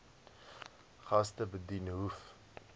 gaste bedien hoef